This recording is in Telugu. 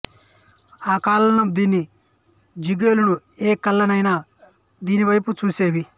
ఆ కాలంలో దీని జిగేలును ఏ కళ్ళైనా దీనివైపే చూసేవి